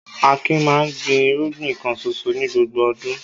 Akin máa ń gbin irúgbìn kan ṣoṣo ní gbogbo ọdún.